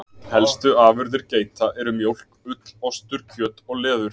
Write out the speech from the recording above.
Helstu afurðir geita eru mjólk, ull, ostur, kjöt og leður.